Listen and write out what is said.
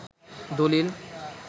দলিল